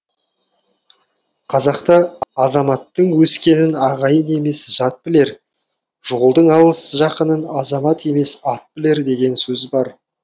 қазақта азаматтың өскенін ағайын емес жат білер жолдың алыс жақынын азамат емес ат білер деген сөз бар